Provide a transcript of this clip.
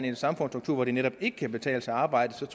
en samfundsstruktur hvor det netop ikke kan betale sig at arbejde